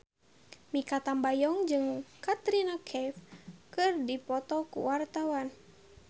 Mikha Tambayong jeung Katrina Kaif keur dipoto ku wartawan